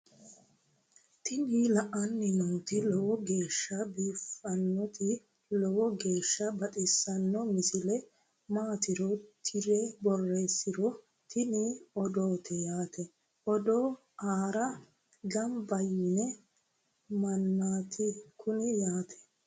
tini aleenni nooti lowo geeshsha biiffinnoti lowo geeshsha baxissanno misile maatiro tirre borreessiniro tini odoote yaate odo aara gamba yiino mannaati kuni yate